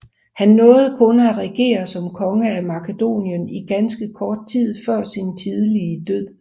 Han nåede kun at regere som konge af Makedonien i ganske kort tid før sin tidlige død